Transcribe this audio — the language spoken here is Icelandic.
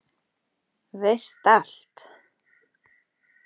Veist allt.